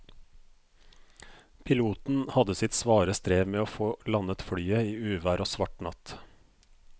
Piloten hadde sitt svare strev med å få landet flyet i uvær og svart natt.